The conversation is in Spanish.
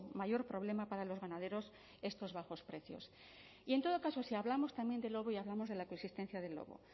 mayor problema para los ganaderos estos bajos precios y en todo caso si hablamos también del lobo y hablamos de la coexistencia del lobo